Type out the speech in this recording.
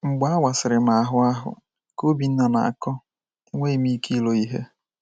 “ Mgbe a wasịrị m ahụ ahụ, ” ka Obinna na - akọ, “ enweghị m ike ilo ihe.